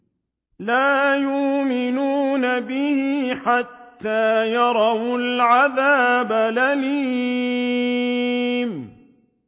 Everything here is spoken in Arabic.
لَا يُؤْمِنُونَ بِهِ حَتَّىٰ يَرَوُا الْعَذَابَ الْأَلِيمَ